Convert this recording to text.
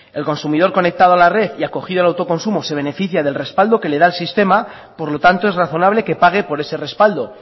el consumidor conectado a la red y acogido al autoconsumo se beneficia del respaldo que le da el sistema por lo tanto es razonable que pague por ese respaldo